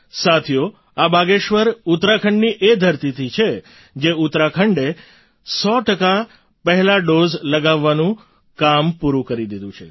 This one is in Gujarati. સાથીઓ આ બાગેશ્વર ઉત્તરાખંડની એ ધરતી પર છે જે ઉત્તરાખંડે સો ટકા પહેલા ડૉઝ લગાવવાનું કામ પૂરું કરી દીધું છે